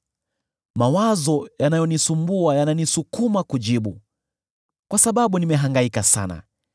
“Mawazo yanayonisumbua yananisukuma kujibu, kwa sababu nimehangaika sana.